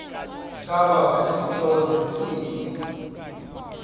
zaba zizinto zentsini